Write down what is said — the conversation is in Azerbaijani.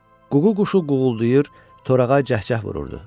Ququ quşu quğuldayır, Torağa cəhcəh vururdu.